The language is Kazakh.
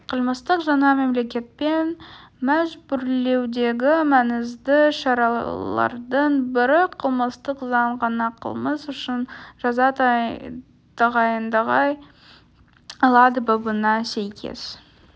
қылмыстық жаза мемлекетпен мәжбүрлеудегі маңызды шаралардың бірі қылмыстық заң ғана қылмыс үшін жаза тағайындай алады бабына сәйкес